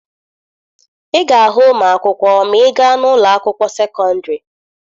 Ị ga-ahụ ụmụ akwụkwọ ma ị gaa n'ụlọ akwụkwọ sekọndịrị.